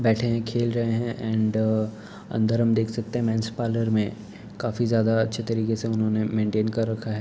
बैठे हैं खेल रहे हैं और अंदर हम देख सकते हैं मेंस पार्लर में काफी ज्यादा अच्छे तरीके से उन्होंने मेंटेन कर रखा है।